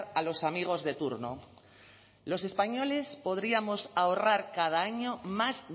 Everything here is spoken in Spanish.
a los amigos de turno los españoles podríamos ahorrar cada año más